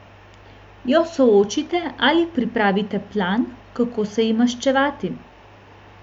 Jo soočite ali pripravite plan, kako se ji maščevati?